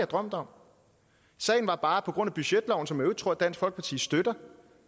drømt om sagen er bare at på grund af budgetloven som øvrigt tror dansk folkeparti støtter